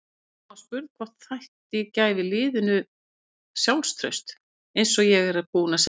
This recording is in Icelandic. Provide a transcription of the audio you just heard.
Guðrún var spurð hvort þætta gæfi liðinu sjálfstraust: Eins og ég er búinn að segja.